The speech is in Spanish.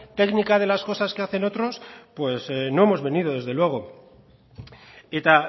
técnica de las cosas que hacen otros pues no hemos venido desde luego eta